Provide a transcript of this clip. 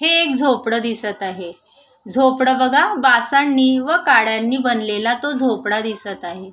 हे एक झोपड दिसत आहे झोपड बघा बासांनी व काड्यांनी बणलेला तो झोपडा दिसत आहे.